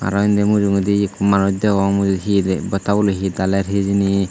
aro indi mujungedi hi ekku manuj degong he tey botta boloi hi daler hijeni.